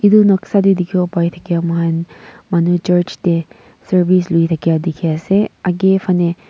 edu noksa de dikhi bo pare thake moikhan manu church de service lui thake dikhi ase aage phane--